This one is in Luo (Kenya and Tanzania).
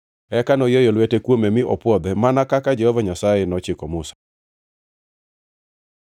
Eka noyieyo lwete kuome mi opwodhe, mana kaka Jehova Nyasaye nochiko Musa.